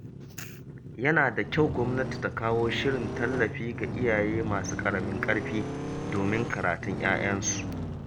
Yana da kyau gwamnati ta kawo shirin tallafi ga iyaye masu ƙaramin ƙarfi domin karatun ‘ya’yansu.